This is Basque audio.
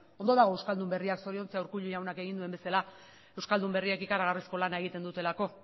ondo dago euskaldun berriak zoriontzea urkullu jaunak egin duen bezala euskaldun berriek ikaragarrizko lana egiten dutelako